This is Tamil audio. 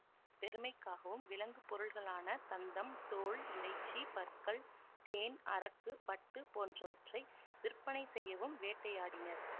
பெருமைக்காகவும் விலங்குப் பொருள்களான தந்தம் தோல் இறைச்சி பற்கள் தேன் அரக்கு பட்டு போன்றவற்றை விற்பனை செய்யவும் வேட்டையாடினர்